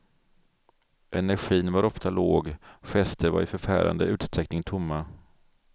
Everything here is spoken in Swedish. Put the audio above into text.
Energin var ofta låg, gester var i förfärande utsträckning tomma.